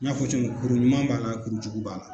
N y'a fɔ cogo min, kuru ɲuman b'a la kuru jugu b'a la.